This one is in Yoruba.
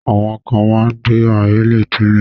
Àwọn kan máa ń gbé ahèré tẹ́lẹ̀.